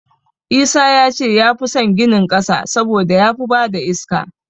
Isa ya ce ya fi san ginin ƙasa saboda ya fi ba da iska.